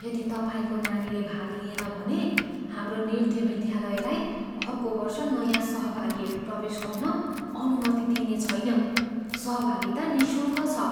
यदि तपाईँको नानीले भाग लिएन भने हाम्रो नृत्य विद्यालयलाई अर्को वर्ष नयाँ सहभागीहरू प्रवेश गर्न अनुमति दिइने छैन। सहभागिता निःशुल्क छ।